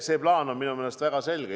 See plaan on minu meelest väga selge.